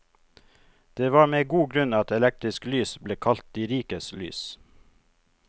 Det var med god grunn at elektrisk lys ble kalt de rikes lys.